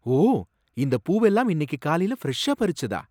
ஓ! இந்தப் பூவெல்லாம் இன்னிக்கு காலைல ஃப்ரெஷ்ஷா பறிச்சதா?